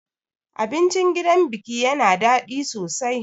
Abincin gidan biki yana daɗi sosai.